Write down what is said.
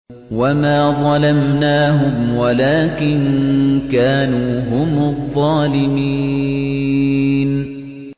وَمَا ظَلَمْنَاهُمْ وَلَٰكِن كَانُوا هُمُ الظَّالِمِينَ